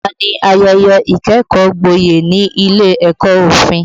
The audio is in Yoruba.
Ọ̀la ni ayẹyẹ ìkẹ́kọ̀ọ́ gboyè ní ilé ẹ̀kọ́ òfin